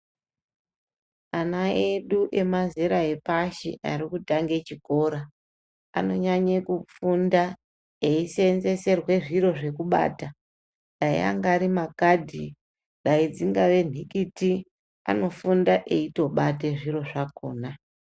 Ana edu emazera epashi ari kutange chikora anonyanye kufunda eiseenzeserwe zviro zvekubata dai angari makadhi dai dzingave nhikiti anofunda eitobate zviro zvakona.